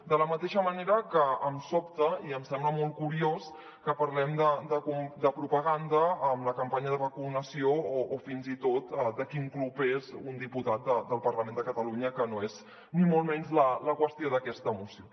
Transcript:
de la mateixa manera que em sobta i em sembla molt curiós que parlem de propaganda amb la campanya de vacunació o fins i tot de quin club és un dipu·tat del parlament de catalunya que no és ni molt menys la qüestió d’aquesta moció